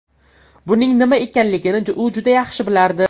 Buning nima ekanligini u juda yaxshi bilardi.